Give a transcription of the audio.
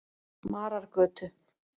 Marargötu